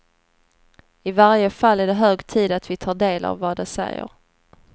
I varje fall är det hög tid att vi tar del av vad de säger.